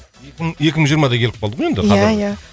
екі мың жиырма да келіп қалды ғой енді ия ия